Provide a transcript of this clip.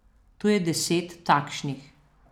Tu je deset takšnih.